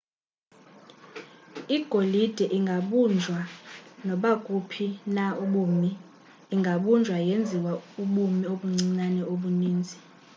igolide ingabunjwa nakubuphi na ubumi ingabunjwa yenziwa ubumi obuncinane obuninzi